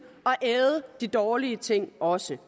at æde de dårlige ting også